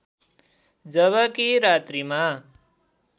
जबकि रात्रिमा